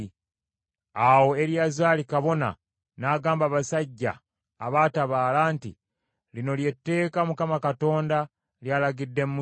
Awo Eriyazaali kabona n’agamba abasajja abaatabaala nti, “Lino lye tteeka Mukama Katonda ly’alagidde Musa: